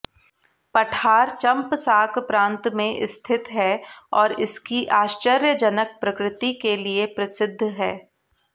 पठार चंपसाक प्रांत में स्थित है और इसकी आश्चर्यजनक प्रकृति के लिए प्रसिद्ध है